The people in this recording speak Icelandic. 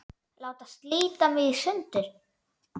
Láta slíta mig í sundur.